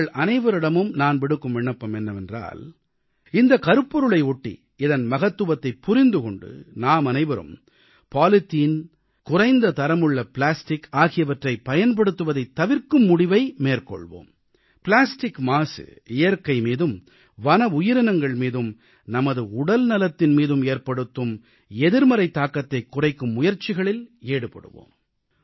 உங்கள் அனைவரிடமும் நான் விடுக்கும் விண்ணப்பம் என்னவென்றால் இந்தக் கருப்பொருளையொட்டி இதன் மகத்துவத்தைப் புரிந்து கொண்டு நாமனைவரும் பாலித்தீன் குறைந்த தரமுள்ள பிளாஸ்டிக் ஆகியவற்றைப் பயன்படுத்துவதைத் தவிர்க்கும் முடிவை மேற்கொள்வோம் பிளாஸ்டிக் மாசு இயற்கை மீதும் வன உயிரினங்கள் மீதும் நமது உடல் நலத்தின் மீதும் ஏற்படுத்தும் எதிர்மறை தாக்கத்தைக் குறைக்கும் முயற்சிகளில் ஈடுபடுவோம்